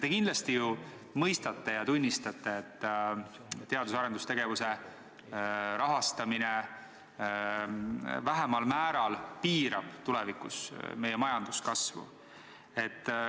Te kindlasti ju mõistate ja tunnistate, et kui teadus- ja arendustegevust rahastatakse vähemal määral, siis see piirab tulevikus meie majanduskasvu.